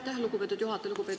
Aitäh, lugupeetud juhataja!